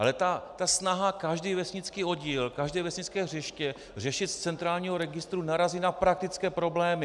Ale ta snaha každý vesnický oddíl, každé vesnické hřiště řešit z centrálního registru narazí na praktické problémy.